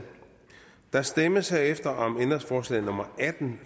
der stemmes herefter om ændringsforslag nummer atten